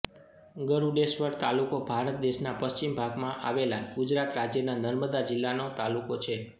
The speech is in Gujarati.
ગરૂડેશ્વર તાલુકો ભારત દેશના પશ્ચિમ ભાગમાં આવેલા ગુજરાત રાજ્યના નર્મદા જિલ્લાનો તાલુકો છે